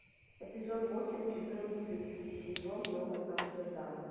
эпизод восемь четырнадцатый сезон новый амстердам